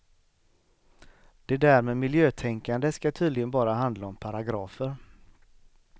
Det där med miljötänkande skall tydligen bara handla om paragrafer.